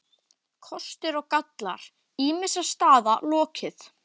KOSTIR OG GALLAR ÝMISSA STAÐA LOKIÐ